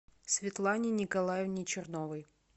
светлане николаевне черновой